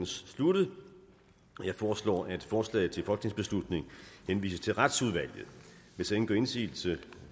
sluttet jeg foreslår at forslaget til folketingsbeslutning henvises til retsudvalget hvis ingen gør indsigelse